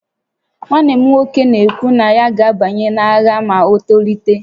Nwanne m nwoke na-ekwu na ya ga-abanye n'agha ma o tolite